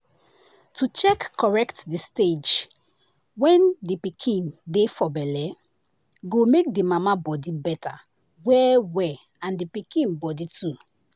to check correct the stage wen the pikin dey for belle go make the mama body better well well and the pikin body too.